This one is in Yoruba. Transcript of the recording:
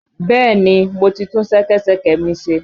Bẹ́ẹ̀ni, mo ti tún ṣẹkẹ́ṣẹkẹ̀ mi ṣe.